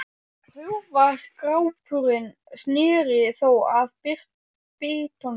Hrjúfasti skrápurinn sneri þó að byttunum.